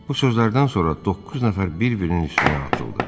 Bu sözlərdən sonra doqquz nəfər bir-birinin üstünə atıldı.